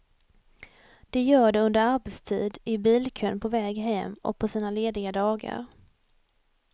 De gör de under arbetstid, i bilkön på väg hem och på sina lediga dagar.